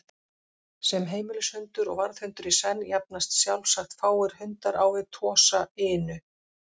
Sem heimilishundur og varðhundur í senn jafnast sjálfsagt fáir hundar á við Tosa Inu.